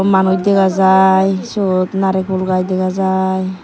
manuj dega jai sut narekul gaj dega jai.